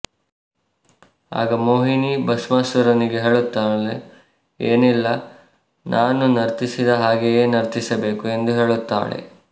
ಆಗ ಮೋಹಿನಿ ಭಸ್ಮಾಸುರನಿಗೆ ಹೇಳುತ್ತಾಳೆ ಏನ್ನಿಲ ನಾನು ನರ್ತಿಸಿದ ಹಾಗೆಯೆ ನರ್ತಿಸಬೇಕು ಎಂದು ಹೇಳುತ್ತಾಳೆ